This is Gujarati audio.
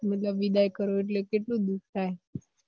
મતલબ વિદાય કરો એટલે કેટલું દુખ થાય